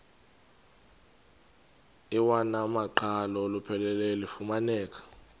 iwamaqhalo olupheleleyo lufumaneka